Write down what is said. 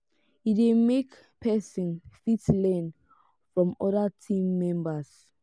e de make persin fit learn from other team members